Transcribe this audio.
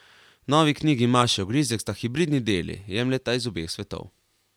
Novi knjigi Maše Ogrizek sta hibridni deli, jemljeta iz obeh svetov.